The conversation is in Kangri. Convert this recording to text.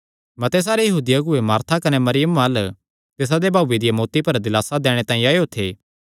मते सारे यहूदी अगुऐ मार्था कने मरियमा अल्ल तिसादे भाऊये दिया मौत्ती पर दिलासा दैणे तांई आएयो थे